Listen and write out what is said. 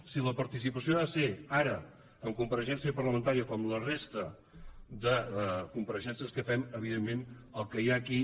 si la participació ha de ser ara en compareixença parlamentària com la resta de compareixences que fem evidentment el que hi ha aquí